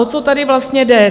O co tady vlastně jde?